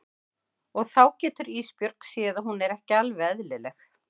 Og þá getur Ísbjörg séð að hún er ekki alveg eðlileg.